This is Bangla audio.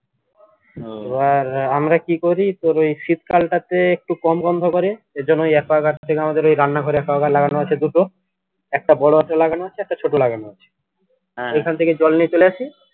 এবার আমরা কি করি এই শীত্কালটাতে একটু কম গন্ধ করে এইজন্য aqua guard থেকে আমাদের এই রান্নঘরে aqua guard লাগানো আছে দুটো একটা বড় একটা লাগানো আছে একটা ছোট লাগানো আছে ঐখান থেকে জল নিয়ে চলে আসি